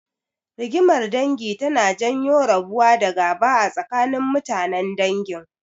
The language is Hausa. Rigimar dangi tana janyo rabuwa da gaba a tsakanin mutanen dangin.